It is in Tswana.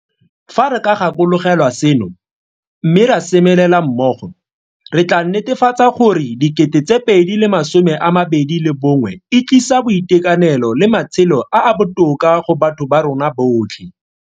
Fa re ka gakologelwa seno, mme ra semelela mmogo, re tla netefatsa gore 2021 e tlisa boitekanelo le matshelo a a botoka go batho ba rona botlhe.